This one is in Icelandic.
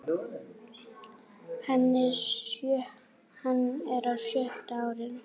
Hann er á sjötta árinu.